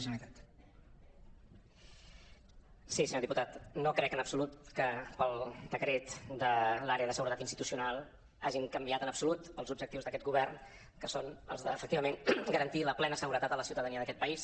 sí senyor diputat no crec en absolut que pel decret de l’àrea de seguretat institucional hagin canviat en absolut els objectius d’aquest govern que són els de efectivament garantir la plena seguretat a la ciutadania d’aquest país